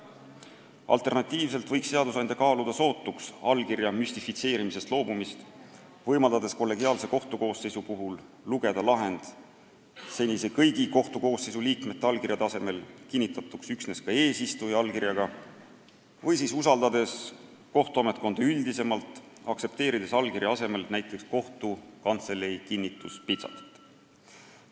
Alternatiivselt võiks seadusandja kaaluda sootuks allkirja müstifitseerimisest loobumist, võimaldades kollegiaalse kohtukoosseisu puhul lugeda lahend senise kõigi kohtukoosseisu liikmete allkirjade asemel kinnitatuks üksnes eesistuja allkirjaga või siis usaldades kohtuametkonda üldisemalt, aktsepteerides allkirja asemel näiteks kohtukantselei kinnituspitsatit.